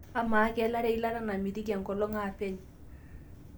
ama kaelare eilata namitiki enkolong aapeny